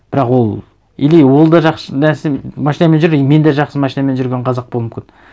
бірақ ол или ол да жақсы машинамен жүр и мен де жақсы машинамен жүрген қазақ болуым мүмкін